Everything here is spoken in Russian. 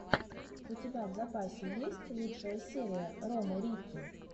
у тебя в запасе есть лучшая серия ромы рикки